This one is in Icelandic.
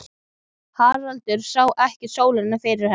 Haraldur sá ekki sólina fyrir henni.